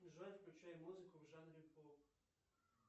джой включай музыку в жанре поп